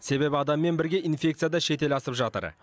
себебі адаммен бірге инфекция да шетел асып жатыр